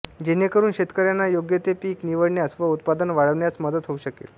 जेणेकरुन शेतक्ऱ्यांना योग्य ते पीक निवडण्यास व उत्पादन वाढविण्यास मदत होऊ शकेल